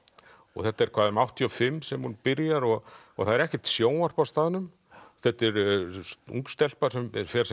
þetta er hvað um áttatíu og fimm sem hún byrjar og það er ekkert sjónvarp á staðnum þetta er ung stelpa sem fer sem